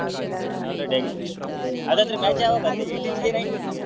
Already ಆಗಿದೆಯಾ ಹಾಗಂದ್ರೆ match ಯಾವಾಗ ಅಂತೆ eighteen ಗೆಯಾ nineteen ಗೆಯಾ?